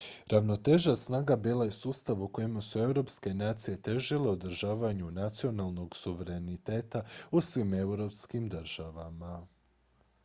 ravnoteža snaga bila je sustav u kojem su europske nacije težile održavanju nacionalnog suvereniteta u svim europskim državama